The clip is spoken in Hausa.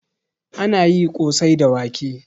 Anayi kosai da wake